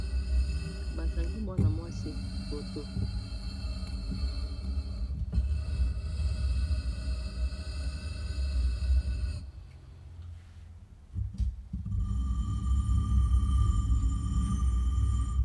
Ba kangi mwana mwasi photo .